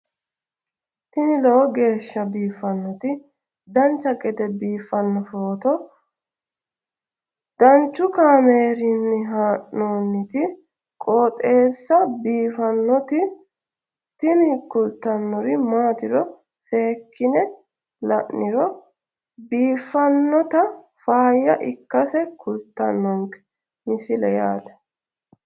tini lowo geeshsha biiffannoti dancha gede biiffanno footo danchu kaameerinni haa'noonniti qooxeessa biiffannoti tini kultannori maatiro seekkine la'niro biiffannota faayya ikkase kultannoke misileeti yaate